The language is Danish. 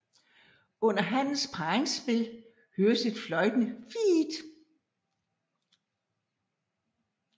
Under hannens parringsspil høres et fløjtende fiih